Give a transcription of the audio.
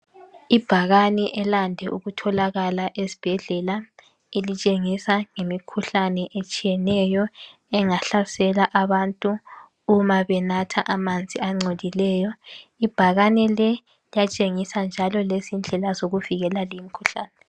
Ibhakane elande ukutholakala esibhedlela elitshengisa ngemikhuhlane etshiyeneyo engahlasela abantu uma benatha amanzi angcolileyo .ibhakane leli liyatshengisa njalo lendlela zokuvikela leyi imikhuhlane.